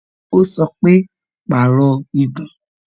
Ó sọ pé "Pàrọ̀ igun"